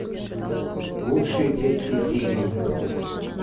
лучшие детские фильмы